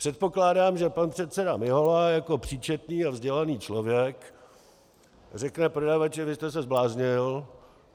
Předpokládám, že pan předseda Mihola jako příčetný a vzdělaný člověk řekne prodavači: "Vy jste se zbláznil.